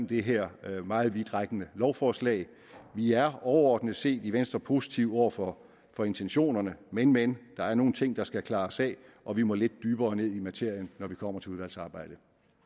det her meget vidtrækkende lovforslag vi er overordnet set i venstre positive over for for intentionerne men men der er nogle ting der skal klares af og vi må lidt dybere ned i materien når vi kommer til udvalgsarbejdet